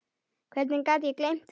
Hvernig gat ég gleymt því?